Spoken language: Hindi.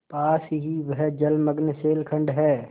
पास ही वह जलमग्न शैलखंड है